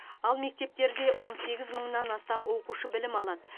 ал мектептерде он сегіз мыңнан астам оқушы білім алады